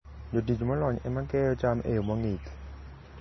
Jotich molony ema keyo cham e yo mong'ith.